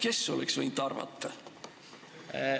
Kes oleks võinud arvata?